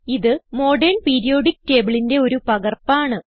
ഇത് modern periodic tableന്റെ ഒരു പകർപ്പ് ആണ്